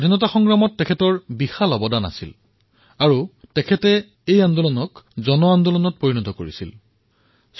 স্বতন্ত্ৰতা সংগ্ৰামত তেওঁৰ সকলোতকৈ অধিক যোগদান এয়াই আছিল যে তেওঁ ইয়াক এক ব্যাপক আন্দোলনলৈ পৰিৱৰ্তন কৰিবলৈ সক্ষম হৈছিল